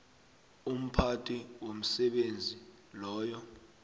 umphathi womsebenzi loyo